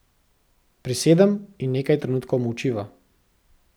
Prisedem in nekaj trenutkov molčiva.